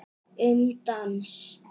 Um dans